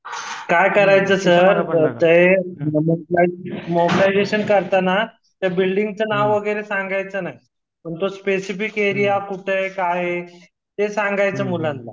काय करायचं सर फक्त एक मोबिलाईजेशन करताना त्या बिल्डिंगच नाव वगैरे सांगायचं नाही तुमच स्पेसिफिक एरिया ते कुठ आहे काय आहे ते सांगायच मुलांना